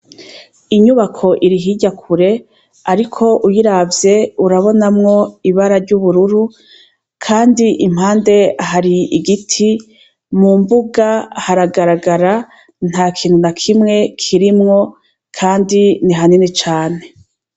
Inyubako iri hirya kure, ariko uyiravye urabonamwo ibara ry' ubururu, kandi impande hari igiti, mu mbuga haragaragara ntakintu nakimwe kirimwo, kandi ni hanini cane.